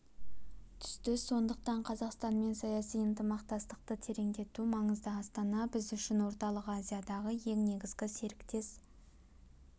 түсті сондықтан қазақстанмен саяси ынтымақтастықты тереңдету маңызды астана біз үшін орталық азиядағы ең негізгі серіктес